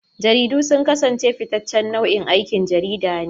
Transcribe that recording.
Jaridu sun kasance fitaccen nau'in aikin jarida ne.